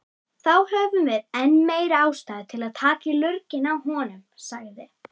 Þá höfum við enn meiri ástæðu til að taka í lurginn á honum, sagði